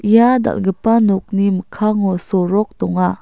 ia dal·gipa nokni mikkango sorok donga.